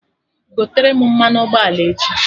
Gotere m mmanụ ụgbọala echi!